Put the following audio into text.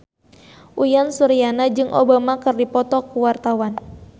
Uyan Suryana jeung Obama keur dipoto ku wartawan